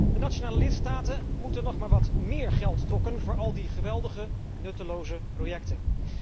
De nationale lidstaten moeten nog maar wat meer geld dokken voor al die geweldige nutteloze projecten.